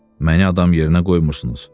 Məni adam yerinə qoymursunuz.